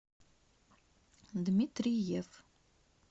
дмитриев